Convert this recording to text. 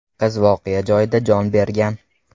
Qiz voqea joyida jon bergan.